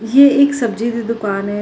ਯੇ ਇੱਕ ਸਬਜੀ ਦੀ ਦੁਕਾਨ ਹੈ।